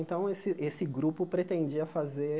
Então, esse esse grupo pretendia fazer